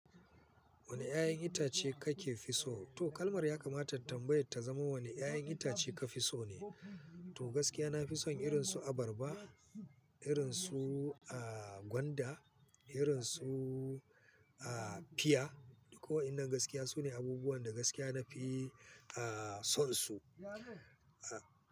Wane 'ya'yan itace kake fi so? To kalmar ya kamata tambayar ta zama wane 'ya'yan itace ka fi so ne? To gaskiya na fi son irin su abarba, irin su, ah, gwanda, irin su, ah, fia. Ko wannan gaskiya sune abubuwan da gaskiya na fi, ah, son su, ah.